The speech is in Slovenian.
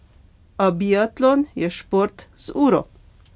A biatlon je šport z uro.